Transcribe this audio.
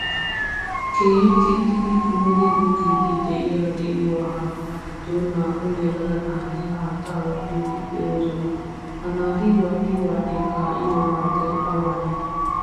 Keehin kixxidi kumidi gogidi de'iyaa di'uwaa haatta giddon na'au yelaga naati haattaa wadhdhidi deosona. Ha naati wadhdhi wadhdhi kaiyo haattaay awanne?